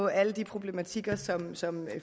alle de problematikker som som